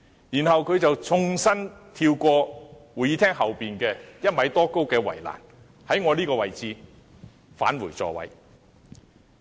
然後，他縱身跳過位於會議廳後方高1米多的圍欄，從我這個位置返回座位。